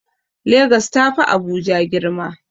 Legas ta fi Abuja girma.